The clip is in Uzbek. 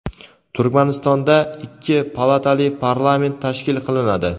Turkmanistonda ikki palatali parlament tashkil qilinadi.